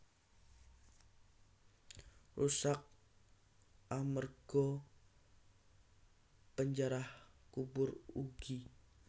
Rusak amerga panjarah kubur ugi